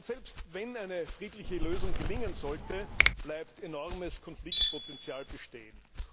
Selbst wenn eine friedliche Lösung gelingen sollte, bleibt enormes Konfliktpotenzial bestehen.